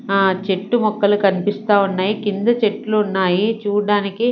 ఆ చెట్టు మొక్కలు కనిపిస్తా ఉన్నాయి కింద చెట్లు ఉన్నాయి చూడ్డనికి.